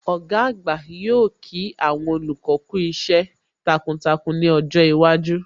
Ọ̀gá àgbà yóò kí àwọn olùkọ́ kú iṣẹ́ takuntakun ní ọjọ́ iwájú